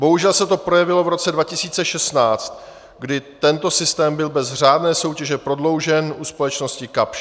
Bohužel se to projevilo v roce 2016, kdy tento systém byl bez řádné soutěže prodloužen u společnosti Kapsch.